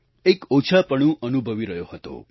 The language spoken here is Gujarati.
એક ઓછાપણુ અનુભવી રહ્યો હતો